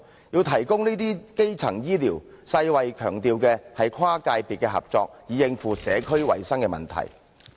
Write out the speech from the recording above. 要提供這些基層醫療，世界衞生組織強調要跨界別合作，以應付社區衞生的問題。